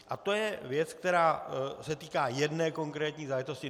A to je věc, která se týká jedné konkrétní záležitosti.